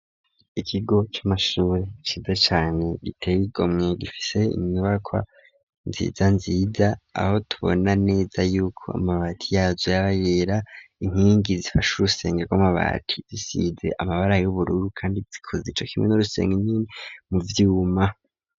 Ikigo c'amashuri ciza cane gitey' igomwe gifise inyubaka nziza nziza aho tubona neza yuko amabati yazo yaba yera inkingi zifash' urusenge gw'amabati zisize amabara y'ubururu kandi zikoze ico kimwe n'urusenge nyine mu vyuma